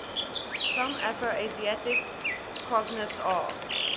some afroasiatic cognates are